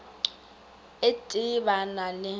et e ba na le